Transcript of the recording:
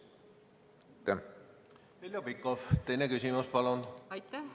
Heljo Pikhof, teine küsimus, palun!